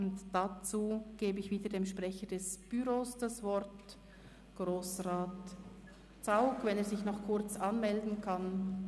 Dazu gebe ich wieder dem Sprecher des Büros, Grossrat Zaugg, das Wort, wenn er sich noch kurz anmelden kann.